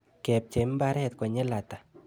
Kepchei mbaret konyil ata?